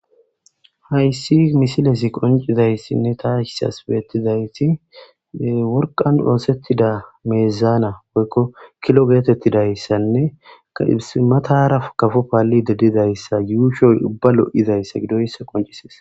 Hayssi misilezi konc'izayssinne ataasi bettizaysi worqqan ooththetida miizana woykko kilo geetetidayssanne matara kafo palishe dizaysa yushon uuba lo'izayssa gidoyssa konc'ises.